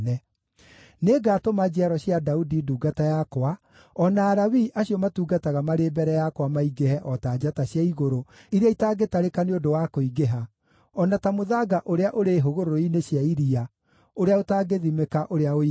Nĩngatũma njiaro cia Daudi ndungata yakwa, o na Alawii acio matungataga marĩ mbere yakwa maingĩhe o ta njata cia igũrũ iria itangĩtarĩka nĩ ũndũ wa kũingĩha, o na ta mũthanga ũrĩa ũrĩ hũgũrũrũ-inĩ cia iria ũrĩa ũtangĩthimĩka ũrĩa ũigana.’ ”